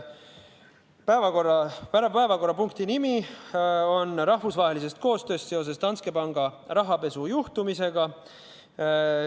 Päevakorrapunkti nimi oli: rahvusvahelisest koostööst seoses Danske panga rahapesujuhtumiga.